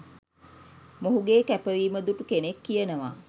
මොහුගේ කැපවීම දුටු කෙනෙක් කියනවා